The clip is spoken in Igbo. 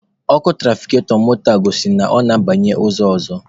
Ọkụ tụrafikatọ moto a gosiri na ọ na-abanye ụzọ ọzọ.